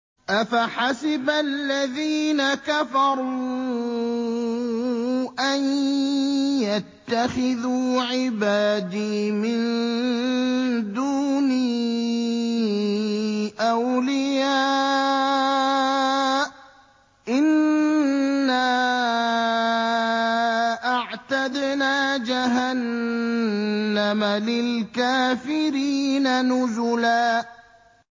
أَفَحَسِبَ الَّذِينَ كَفَرُوا أَن يَتَّخِذُوا عِبَادِي مِن دُونِي أَوْلِيَاءَ ۚ إِنَّا أَعْتَدْنَا جَهَنَّمَ لِلْكَافِرِينَ نُزُلًا